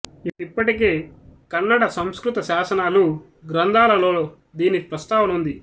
ఇప్పటికే కన్నడ సంస్కృత శాసనాలు గ్రంథాలలో దీని ప్రస్తావన ఉంది